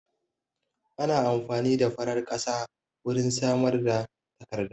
Ana amfani da farar ƙasa wurin samar da takarda